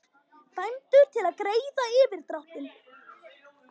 Dæmdur til að greiða yfirdráttinn